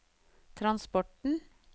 transporten